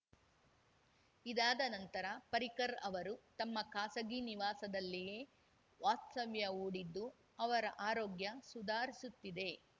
ಇದಾದ ನಂತರ ಪರಿಕರ್‌ ಅವರು ತಮ್ಮ ಖಾಸಗಿ ನಿವಾಸದಲ್ಲಿಯೇ ವಾಸ್ತವ್ಯ ಹೂಡಿದ್ದು ಅವರ ಆರೋಗ್ಯ ಸುಧಾರಿಸುತ್ತಿದೆ